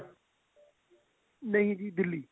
ਨਹੀਂ ਜੀ ਦਿੱਲੀ